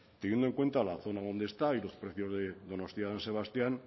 teniendo en cuenta la zona donde está y los precios de donostia san sebastián